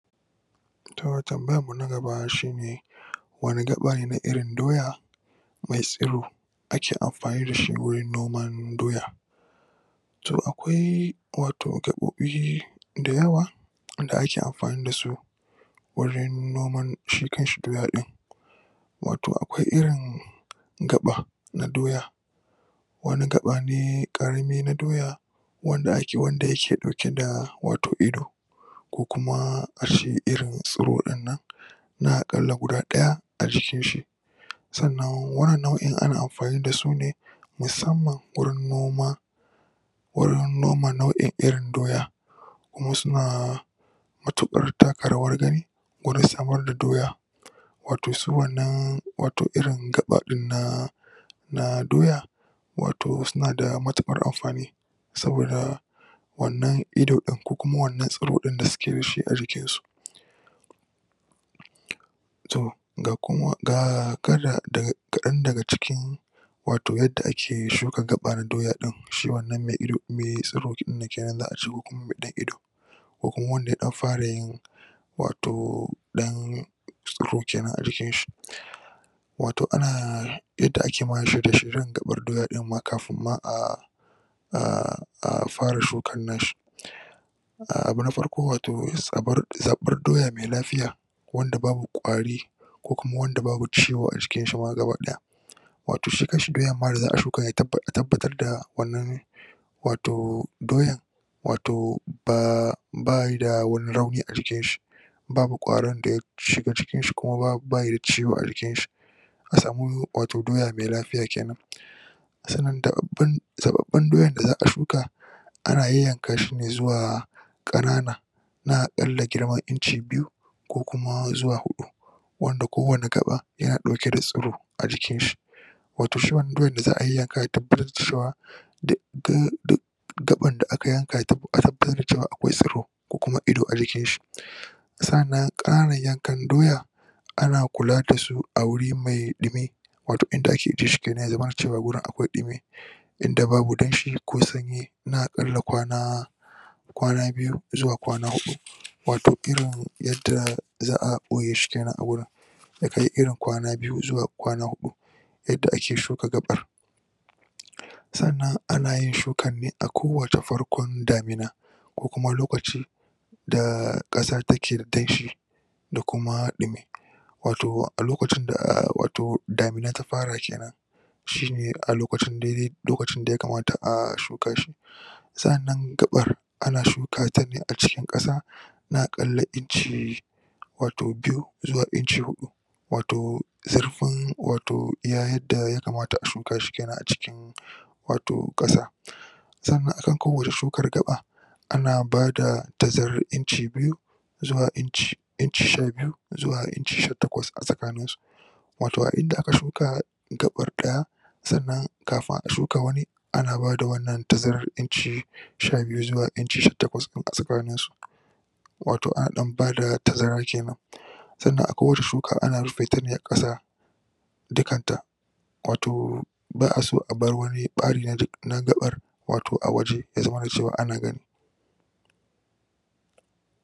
Toh tambayan mu na gaba shine wani gaba ne na irin doya mai tsiro ake amfani dashi gurin noman doya to, akwai wato gabobi da yawa da ake amfani dasu wurin noman shi kanshi doya din wato akwai irin gaba na doya wani gaba ne karami na doya wanda yake dauke da wato ido kukuma ace irin tsoro dinnan na akalla guda daya a jikin shi sannan wannan nau'in ana amafani dasu ne musamman gurin noma gurin noma irin nau'in doya kuma suna matukar taka rawar gani gurin samar da doya wato su wannan wato irin gaba din na na doya wato suna da matukar amfani saboda wannan ido din ko kuma wannan tsiro da suke dashi a jikinsu to ga um kadan daga cikin wato yadda ake shuka gaba doya din shi wannan mai tsiro din za' ace kukuma mai ido ko kuma wanda ya dan fara yin wato dan tsoro kenan a jikin shi wato ana yadda ake shirye-shirye gabar doya dinma kafin ma ah um fara shukan nasa abu na farko, wato zaban doya mai lafiya wanda babu kwari kukuma ma wanda babu ciwo a jikinsa gaba daya wato shi kanshi doyar ma da za'a shuka a tabbatar da wannan wato doyan wato [um]bayi da wani rauni a jikinshi babu kwarin da ya shiga jikinshi kuma bayi da ciwo a jikinshi a samu wato doya mai lafiya kenan sannan zabbaban doya da za'a shuka ana yanyankashi ne zuwa kanana na akallal girma inci biyu ku kuma zuwa uku wanda ko wani gaba yana tare da tsoro a jikinshi wato shi wannan doya da za'a yanyanka a tabbatar cewa duk gabar da aka yanka a tabbatar akwai tsoro ko kuma ido a jikinshi sa'anan kananan yankan doyan ana kula dasu a guri mai dumi wato inda ake ajiye shi ya zamana akwai dumi inda babu sanyi ko danshi na akalla kwana kwana biyu zuwa kwana hudu wato irin yadda za'a boye shi kenan a wajen yakai irin kwana biyu zuwa kwana uku yadda ake shuka gabar sannan an ayin shukar ne a ko wani farkon damina kukuma lokaci da kasa take da danshi da kuma dumi wato wato a lokacin da damin ta fara kenan shi ne a lokacin daya kamata a shuka su sa'anan gabar ana shuka tane a cikin kasa na akalla inci wato biyu zuwa uku wato zurfin wato iya yadda ya kamat a shuka su kenan wato a kasa sannan a ko wani shukar gaba ana bada tazarar inci sha biyu zuwa inci sha biyu zuwa inci sha takwas wato a inda aka shuka gabar daya sannan kafin a shuka ana bada wannan tazarar inci sha biyu zuwa sha inci sha takwas a tsakanin su wato ana dan bada tazara kenan sannan ko wace shuka ana rufe ta ne a kasa dukanta wato ba'a so a bar wuri bari na gabar wato a waje ya zamana cewa ana gani